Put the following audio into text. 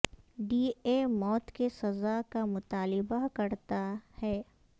D A موت کی سزا کا مطالبہ کرتا ہے